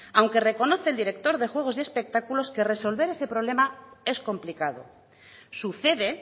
aunque reconoce el director de juegos y espectáculos que resolver ese problema es complicado sucede